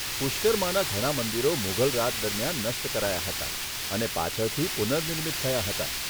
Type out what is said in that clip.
પુષ્કરમાના ઘણા મંદિરો મુગલ રાજ દરમિયાન નષ્ટ કરાયા હતા, અને પાછળથી પુનઃનિર્મિત થયાં હતાં.